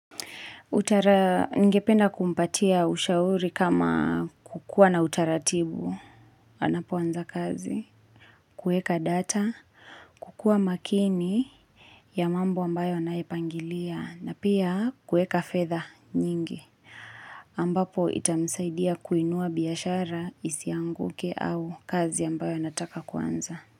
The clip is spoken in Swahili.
Utara ningependa kumpatia ushauri kama kukua na utaratibu, anapoanza kazi, kueka data, kukua makini ya mambo ambayo anaepangilia na pia kueka fedha nyingi ambapo itamsaidia kuinua biashara isianguke au kazi ambayo anataka kuanza.